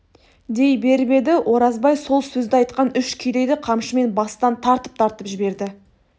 дей беріп еді оразбай сол сөзді айтқан үш кедейді қамшымен бастан тартып-тартып жіберді